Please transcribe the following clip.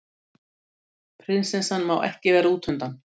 Prinsessan má ekki vera útundan